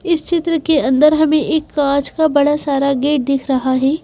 इस चित्र के अंदर हमें एक काँच का बड़ा सारा गेट दिख रहा है।